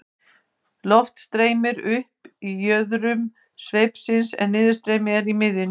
loft streymir upp í jöðrum sveipsins en niðurstreymi er í miðjunni